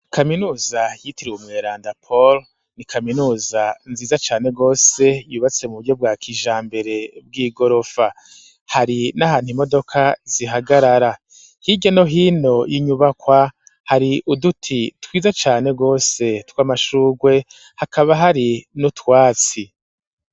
Kaminuza yitiriwe umuerandapolo ni kaminuza nziza cane rwose yubatse mu buryo bwa kijambere bw'i gorofa hari n'ahantu imodoka zihagarara hige no hino y'inyubakwa hari uduti twiza cane rwose tw'amashurwe hakaba hari n'utwatsi.